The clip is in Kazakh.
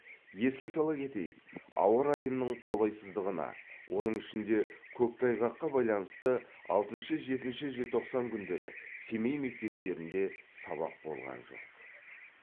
еске сала кетейік ауа райының қолайсыздығына оның ішінде көктайғаққа байланысты алтыншы жетінші желтоқсан күндері семей мектептерінде сабақ болған жоқ